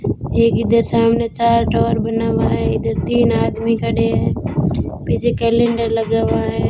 एक इधर सामने चार्ट और बना हुआ है इधर तीन आदमी खड़े हैं पीछे कैलेंडर लगा हुआ है।